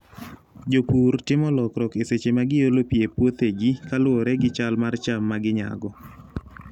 Jopur timo lokruok e seche ma giolo pi e puothegi kaluwore gi chal mar cham ma ginyago.